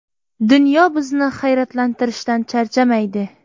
Dunyo bizni hayratlantirishdan charchamaydi.